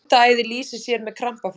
hundaæði lýsir sér með krampaflogum